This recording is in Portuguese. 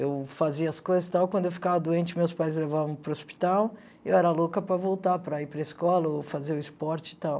Eu fazia as coisas e tal, quando eu ficava doente meus pais me levavam para o hospital e eu era louca para voltar, para ir para a escola ou fazer o esporte e tal.